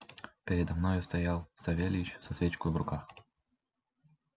передо мною стоял савельич со свечкою в руках